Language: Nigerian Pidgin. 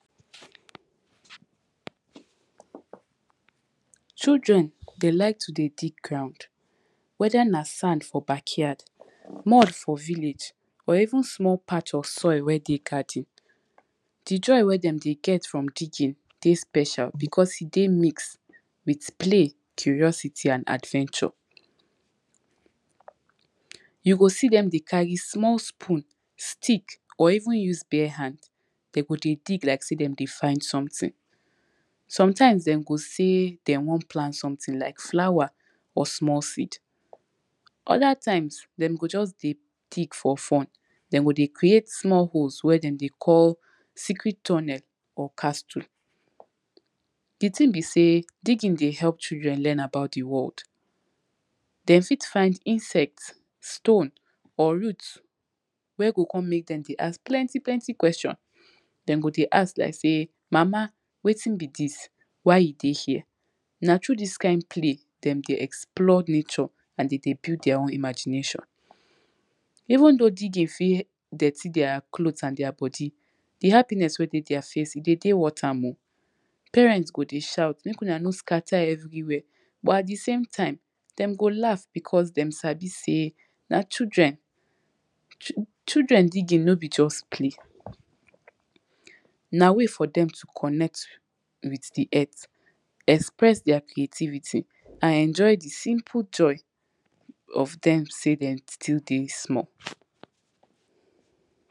Children dey like to dey dig ground whether na sand for backyard, mud for village or even small patch of soil wey dey garden. Di joy wey dem dey get from digging dey special becos e dey mixed with play, curiosity and adventure. You go see dem dey carry small spoon, stick or even use bare hand, dem go dey dig like sey dem dey find something. Sometimes dem go sey dem won plant something like flower or small seed, other time dem go just dey dig for fun, dem go dey create small holes wey dem dey call secret tunnel or castle. Di thing be say digging dey help children learn about di world, dem fit find insect, stone or root wey go come mek dem dey ask plenty plenty question, dem go dey ask like sey mama wetin be dis, why e dey here. Na through dis kind play dem dey explore nature and dem dey build deir own imagination. Even though digging fit dirty deir cloth and deir body, di happiness wey dem deir face e dey dey worth am o. Parents go dey shout mek una no scatter everywhere but at di same time dem go laugh becos dem sabi sey na children. Children digging no be just play, na way for dem to connect with di earth, express deir creativity and enjoy di simple joy of dem sey dem still dey small.